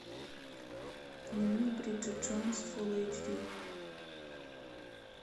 дневник бриджит джонс фулл эйч ди